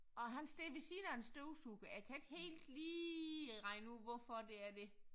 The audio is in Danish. Og han står ved siden af en støvsuger jeg kan ikke helt lige regne ud hvorfor det er det